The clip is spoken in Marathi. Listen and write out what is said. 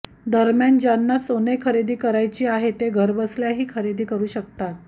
दरम्यान ज्यांना सोनेखरेदी करायची आहे ते घरबसल्या ही खरेदी करू शकता